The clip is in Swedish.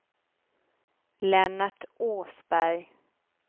Lennart Åsberg